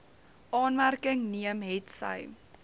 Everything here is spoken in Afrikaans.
aanmerking neem hetsy